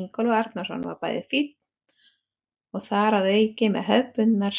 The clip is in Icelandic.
Ingólfur Arnarson var bæði fínn og þar að auki með hefðbundna